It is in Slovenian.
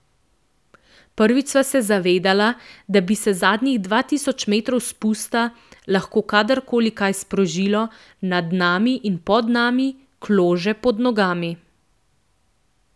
Prvič sva se zavedala, da bi se zadnjih dva tisoč metrov spusta lahko kadarkoli kaj sprožilo, nad nami in pod nami, klože pod nogami.